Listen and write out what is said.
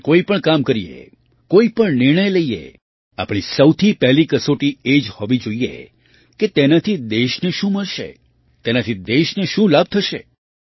આપણે કોઈ પણ કામ કરીએ કોઈ પણ નિર્ણય લઈએ આપણી સૌથી પહેલી કસોટી એ જ હોવી જોઈએ કે તેનાથી દેશને શું મળશે તેનાથી દેશને શું લાભ થશે